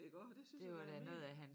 Iggå det synes jeg da var helt